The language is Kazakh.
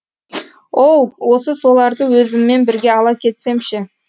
оу осы соларды өзіммен бірге ала кетсем ше